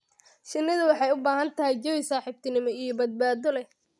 Shinnidu waxay u baahan tahay jawi saaxiibtinimo iyo badbaado leh.